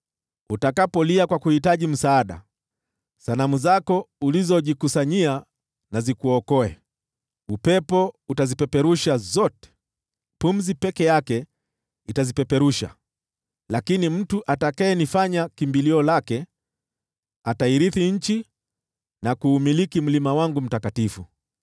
Utakapolia kwa kuhitaji msaada, sanamu zako ulizojikusanyia na zikuokoe! Upepo utazipeperusha zote, pumzi peke yake itazipeperusha, Lakini mtu atakayenifanya kimbilio lake, atairithi nchi na kuumiliki mlima wangu mtakatifu.”